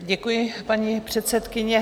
Děkuji, paní předsedkyně.